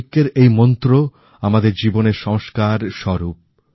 ঐক্যের এই মন্ত্র আমাদের জীবনের সংস্কার স্বরূপ